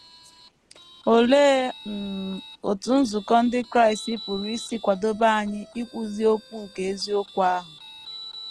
Olee um otú nzukọ ndị Kraịst pụrụ isi kwadebe anyị ikwuzi okwu nke eziokwu ahụ?